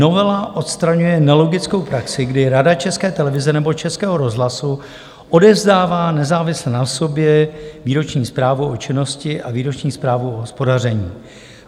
Novela odstraňuje nelogickou praxi, kdy Rada České televize nebo Českého rozhlasu odevzdává nezávisle na sobě výroční zprávu o činnosti a výroční zprávu o hospodaření.